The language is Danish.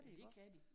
Ja det kan de